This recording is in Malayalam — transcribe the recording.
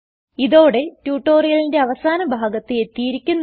ഇതോടെ ട്യൂട്ടോറിയലിൻറെ അവസാന ഭാഗത്ത് എത്തിയിരിക്കുന്നു